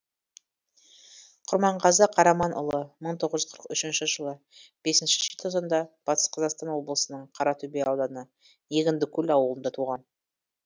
құрманғазы қараманұлы мың тоғыз жүз қырық үшінші жылы беснші желтоқсанда батыс қазақстан облысының қаратөбе ауданы егіндікөл ауылында туған